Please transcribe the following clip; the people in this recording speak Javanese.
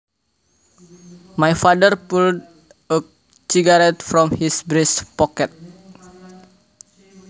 My father pulled a cigarette from his breast pocket